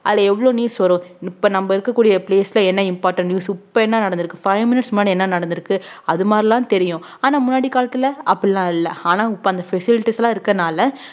அதுல எவ்வளவு news வரும் இப்ப நம்ம இருக்கக்கூடிய place ல என்ன important news இப்ப என்ன நடந்திருக்கு five minutes முன்னாடி என்ன நடந்திருக்கு அது மாதிரில்லாம் தெரியும் ஆனா முன்னாடி காலத்துல அப்படி எல்லாம் இல்லை ஆனா இப்ப அந்த facilities எல்லாம் இருக்கறதுனால